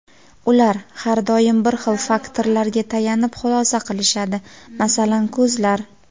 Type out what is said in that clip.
ular har doim bir xil faktorlarga tayanib xulosa qilishadi, masalan, ko‘zlar.